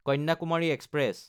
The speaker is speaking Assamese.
কন্যাকুমাৰী এক্সপ্ৰেছ